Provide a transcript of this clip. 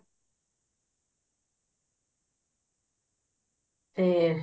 ਤੇ